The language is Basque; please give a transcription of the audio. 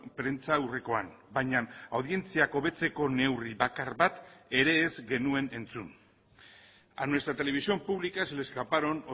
prentsaurrekoan baina audientziak hobetzeko neurri bakar bat ere ez genuen entzun a nuestra televisión pública se le escaparon